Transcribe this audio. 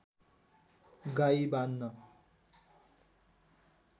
गाई बाँध्न